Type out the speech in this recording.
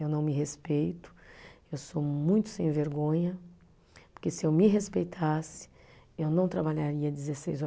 Eu não me respeito, eu sou muito sem vergonha, porque se eu me respeitasse, eu não trabalharia dezesseis